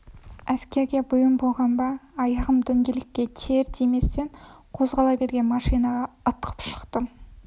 әскерге бұйым болған ба аяғым дөңгелекке тиер-тиместен қозғала берген машинаға ытқып шықтым